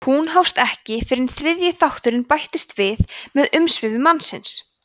hún hófst ekki fyrr en þriðji þátturinn bætist við með umsvifum mannsins